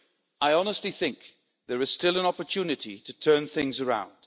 I honestly think there is still an opportunity to turn things around.